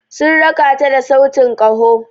Sun raka ta da sautin kaho.